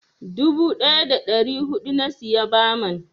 Dubu ɗaya da ɗari huɗu na siya baman.